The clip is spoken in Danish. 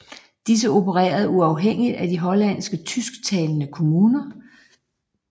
Disse opererede uafhængigt af de hollandske tysk talende kommuner